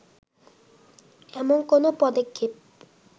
এমন কোনো পদক্ষেপ